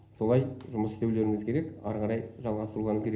солай жұмыс істеулеріңіз керек ары қарай жалғастыруларың керек